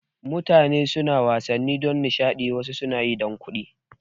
Mutane suna wasanni don nishada amma wasu suna yi don kuɗi